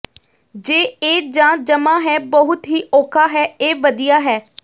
ਜੇ ਇਹ ਜ ਜਮਾ ਹੈ ਬਹੁਤ ਹੀ ਔਖਾ ਹੈ ਇਹ ਵਧੀਆ ਹੈ